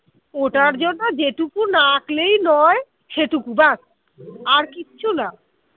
ওটার জন্য যেটুকু না আঁকলেই নয় সেটুকু বাস আর কিছু না